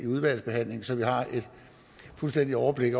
udvalgsbehandlingen så vi har et fuldstændigt overblik